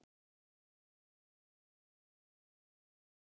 Viskan ekki mikil!